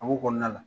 A ko kɔnɔna na